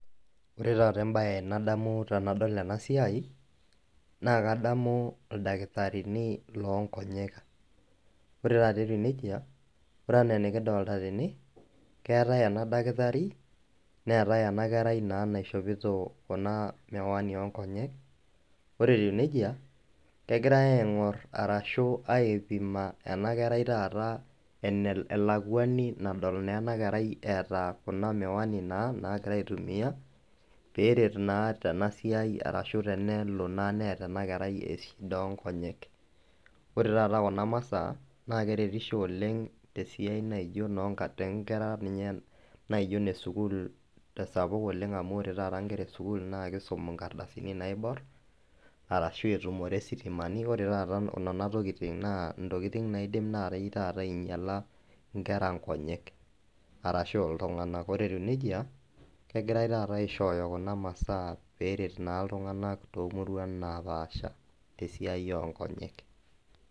Ore taata embaye nadamu tenadol enasiai, naa kadamu ildakitarini loonkonyek. Ore tata etiu neija ore anaa enikidolita tene keetai ena dakitari neetai ena kerai naa naishopito kuna  miwani oonkonyek, ore etiu neija kegirai aing'orr arashu aipima ena kerai taata enel elakuani nadol neena kerai eeta kuna miwani naa naagira aitumia peeret naa tenasiai arashu tenelo naa neata enakerai shida onkonyek. Ore taata kuna masaa naa keretisho oleng' tesiai naijo nonka tenkera ninye [ehn] naijo nesukul tesapuk oleng' amu ore tata nkera esukul nakeisum inkardasini naiborr arashu etumore sitimani, ore taata nena tokitin naa intokitin naaidim naatei taata ainyala inkera nkonyek arashu iltung'anak. Ore etiu neija kegirai taata aishooyo kuna masaa peeret naa iltung'anak toomuruan napaasha tesiai onkonyek.